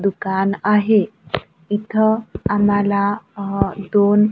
दुकान आहे इथं आम्हाला अ दोन--